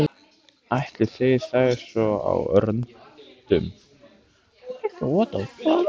Eltu þeir þær svona á röndum?